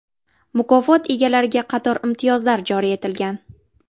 Mukofot egalariga qator imtiyozlar joriy etilgan.